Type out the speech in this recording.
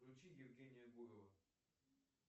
включи евгения гурова